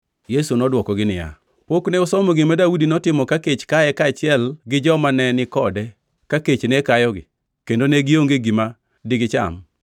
Yesu nodwokogi niya, “Pok ne usomo gima Daudi notimo ka kech kaye kaachiel gi joma ne ni kode ka kech ne kayogi kendo ne gionge gi gima digicham?